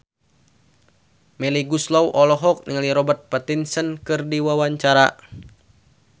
Melly Goeslaw olohok ningali Robert Pattinson keur diwawancara